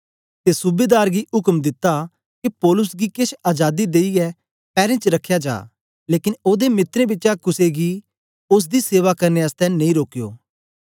ते सूबेदार गी उक्म दित्ता के पौलुस गी केछ अजादी देईयै पैरें च रखया जा लेकन ओदे मित्रें बिचा कुसे गी बी ओसदी सेवा करने आसतै नेई रोकयो